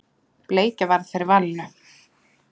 Bleikja varð fyrir valinu.